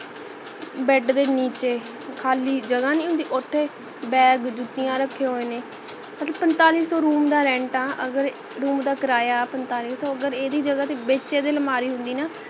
bed ਦੇ ਨੀਚੇ ਖਾਲੀ ਜੱਗਹ ਨਹੀਂ ਹੁੰਦੀ ਓਥੇ bag ਜੁੱਤੀਆਂ ਰੱਖੇ ਹੋਏ ਨੇ ਮਤਲਬ ਪੰਤਾਲੀ ਸੋ room ਦਾ rent ਹੈ ਅਗਰ room ਦਾ ਕਿਰਾਇਆ ਹੈ ਪੰਤਾਲੀ ਸੋ ਅਗਰ ਐਦੀ ਜਗਾਹ ਤੇ ਵਿੱਚ ਇਹਦੇ ਅਲਮਾਰੀ ਹੁੰਦੀ ਨਾ